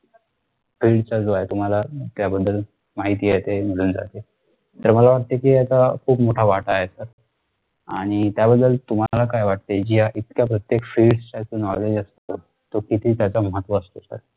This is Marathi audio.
field च जो आहे तुम्हाला माहिती आहे ते निघून जाते ते मला वाटत कि याचा खूप मोठा वाटत आहे sir आणि त्याबद्दल तुम्हाला काय वाटते कि जी आहे प्रत्येक field च knowledge असत तो किती त्याचा महत्व असते